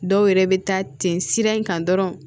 Dɔw yɛrɛ bɛ taa ten sira in kan dɔrɔn